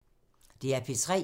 DR P3